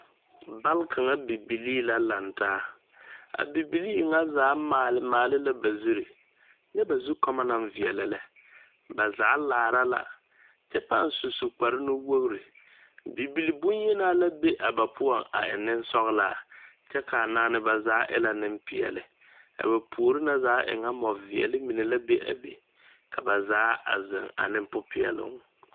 Bale kaŋa bibilii la laŋ taa a bibilii ŋa zaa maale maale la ba zuri nyɛ ba zukoɔma naŋ veɛlɛ lɛ ba zaa laara la kyɛ pãã su kparre nuwogri bibilii boŋyenaa la be a ba poɔŋ a e nensɔglaa kyɛ ka a naane zaa e la nempeɛle a ba puori na zaa e ka mɔveɛle mine la be a be ka zaa a zeŋ ane popeɛloŋ.